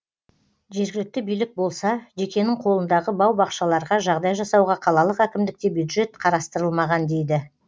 жергілікті билік болса жекенің қолындағы бау бақшаларға жағдай жасауға қалалық әкімдікте бюджет қарастырылмаған дейді